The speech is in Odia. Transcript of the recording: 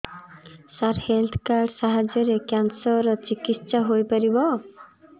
ସାର ହେଲ୍ଥ କାର୍ଡ ସାହାଯ୍ୟରେ କ୍ୟାନ୍ସର ର ଚିକିତ୍ସା ହେଇପାରିବ